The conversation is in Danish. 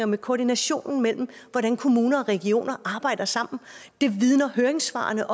med koordinationen mellem hvordan kommuner og regioner arbejder sammen det vidner høringssvarene